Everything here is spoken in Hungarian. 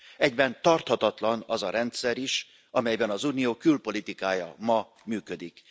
Egyben tarthatatlan az a rendszer is, amelyben az Unió külpolitikája ma működik.